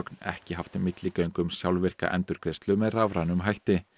ekki haft milligöngu um sjálfvirka endurgreiðslu með rafrænum hætti